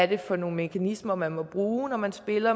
det er for nogle mekanismer man må bruge når man spiller